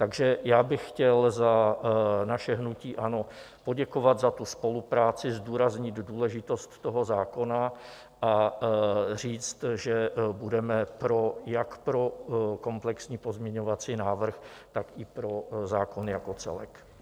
Takže já bych chtěl za naše hnutí ANO poděkovat za tu spolupráci, zdůraznit důležitost toho zákona, a říct, že budeme jak pro komplexní pozměňovací návrh, tak i pro zákon jako celek.